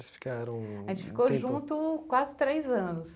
Vocês ficaram um tempo... A gente ficou junto quase três anos.